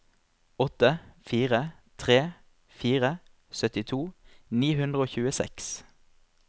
åtte fire tre fire syttito ni hundre og tjueseks